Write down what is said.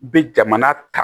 Be jamana ta